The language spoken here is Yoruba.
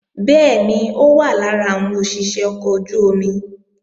Bẹ́ẹ̀ni, ó wà lára àwọn òṣìṣé ọkọ̀ ojú-omi